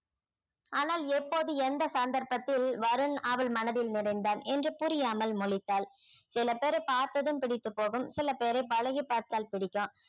ஆனால் எப்போது எந்த சந்தர்ப்பத்தில் வருண் அவள் மனதில் நிறைந்தான் என்று புரியாமல் முழித்தாள் சில பேரை பார்த்ததும் பிடித்து போகும் சில பேரை பழகிப் பார்த்தால் பிடிக்கும்